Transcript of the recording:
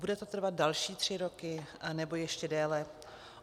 Bude to trvat další tři roky nebo ještě déle?